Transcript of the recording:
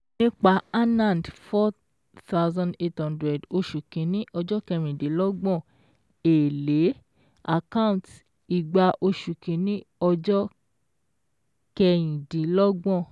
Nípa Anand four thousand eight hundred oṣù kìíní ọjọ́ kẹ̀rìndínlọ́gbọ̀n èlé account igba oṣù kìíní ọjọ́ kẹyìndínlọ́gbọ̀n